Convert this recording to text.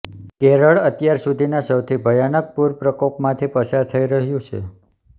કેરળ અત્યાર સુધીના સૌથી ભયાનક પૂર પ્રકોપમાંથી પસાર થઈ રહ્યુ છે